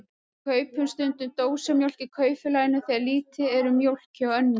Við kaupum stundum dósamjólk í Kaupfélaginu þegar lítið er um mjólk hjá Önnu.